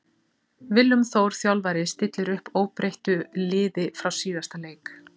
Willum Þór þjálfari stillir upp óbreyttur liði frá síðasta leik.